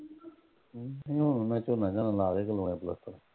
ਹੂੰ ਮੈਂਥੋਂ ਮੈਂ ਕਹਿੰਦਾ ਲਾ ਦੇ ਜ਼ੋਰ ਇੱਧਰ